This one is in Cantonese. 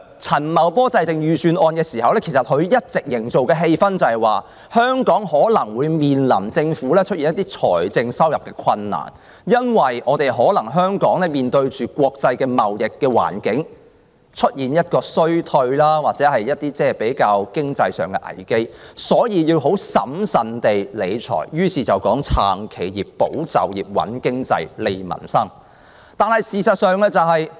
陳茂波在制訂預算案時，一直營造的氣氛是，香港政府可能會面臨財政困難，香港可能會因國際貿易環境衰退而遇上經濟危機，所以他要很審慎理財，於是提出："撐企業、保就業、穩經濟、利民生"。